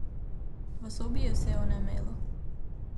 V sobi je vse onemelo.